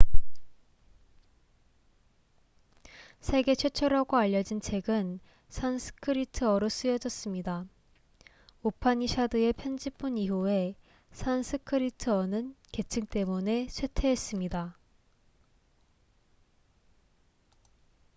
세계 최초라고 알려진 책은 산스크리트어로 쓰여졌습니다 우파니샤드의 편집본 이후에 산스크리트어는 계층 때문에 쇠퇴했습니다